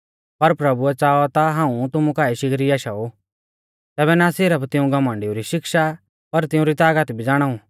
पर प्रभुऐ च़ाऔ ता हाऊं तुमु काऐ शिगरी आशाऊ तैबै ना सिरफ तिऊं घमण्डिऊ री शिक्षा पर तिउंरी तागत भी ज़ाणाऊ